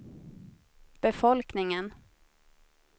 befolkningen